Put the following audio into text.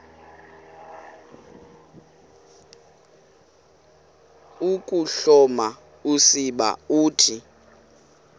ukuhloma usiba uthi